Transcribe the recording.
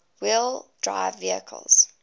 wheel drive vehicles